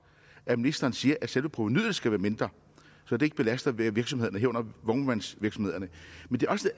at ministeren siger at selve provenuet skal være mindre så det ikke belaster virksomhederne herunder vognmandsvirksomhederne